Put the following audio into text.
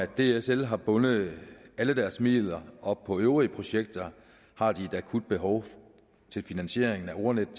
dsl har bundet alle deres midler op på øvrige projekter har de et akut behov for finansiering af ordnetdk